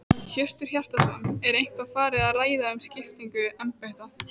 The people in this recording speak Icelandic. Hjörtur Hjartarson: Er eitthvað farið að ræða um skiptingu embætta?